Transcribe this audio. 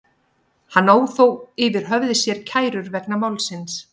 Hann á þó yfir höfði sér kærur vegna málsins.